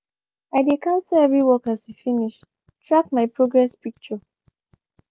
i de cancel every work as e finsh track my progress picture